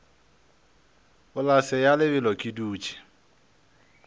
polase ya lebelo ke dutše